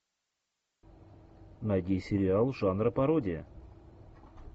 найди сериал жанра пародия